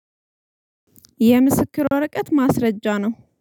የምስክር ወረቀት ማስረጃ ነው።